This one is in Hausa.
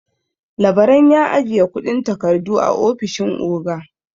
Labaran ya ajiye kundin takardu a ofishin oga.